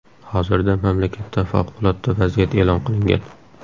Hozirda mamlakatda favqulodda vaziyat e’lon qilingan.